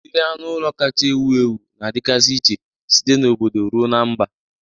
Udiri anụ ụlọ kacha ewu ewu na-adịgasị iche site na obodo ruo na mba.